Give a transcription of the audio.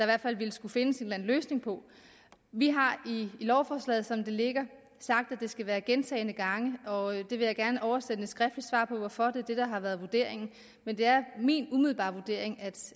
hvert fald vil skulle findes en løsning på vi har i lovforslaget som det ligger sagt at der skal være gentagne gange og jeg vil gerne oversende et skriftligt svar på hvorfor det er det der har været vurderingen men det er min umiddelbare vurdering